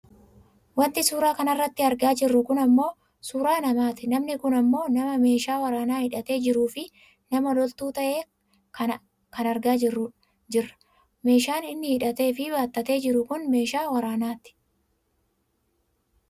Wanti suuraa kanarratti argaa jirru kun ammoo suuraa namati. Namni kun ammoo nama meeshaa waraanaa hidhatee jiruufi nama loltuu ta'e kana argaa jirra. Meeshaan inni hidhateefi baattatee jiru kun meeshaa waraanaati.